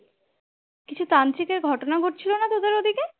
কিছু তান্ত্রিকের ঘটনা ঘটেছিলো না তোদের ওদিকে?